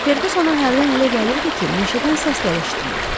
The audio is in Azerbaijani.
Ferqus ona hərdən elə gəlirdi ki, meşədən səslər eşidilir.